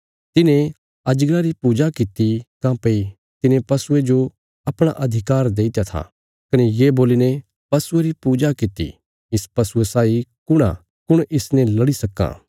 तिन्हें अजगरा री पूजा कित्ती काँह्भई तिने पशुये जो अपणा अधिकार देईत्या था कने ये बोल्लीने पशुये री पूजा कित्ती इस पशुये साई कुण आ कुण इसने लड़ी सक्कां